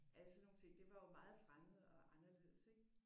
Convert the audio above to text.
Alle sådan nogle ting det var jo meget fremmed og anderledes ik